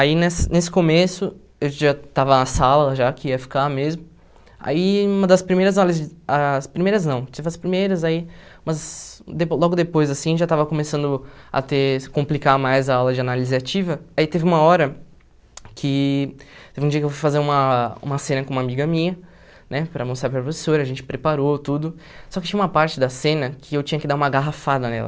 Aí, nesse nesse começo, eu já estava na sala, já que ia ficar mesmo, aí uma das primeiras aulas, as primeiras não, tive as primeiras aí, mas de logo depois, assim, já estava começando a ter complicar mais a aula de análise ativa, aí teve uma hora que, teve um dia que eu fui fazer uma uma cena com uma amiga minha, né, para mostrar para a professora, a gente preparou tudo, só que tinha uma parte da cena que eu tinha que dar uma garrafada nela.